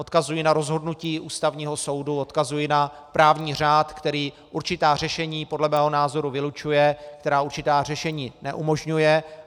Odkazuji na rozhodnutí Ústavního soudu, odkazuji na právní řád, který určitá řešení podle mého názoru vylučuje, který určitá řešení neumožňuje.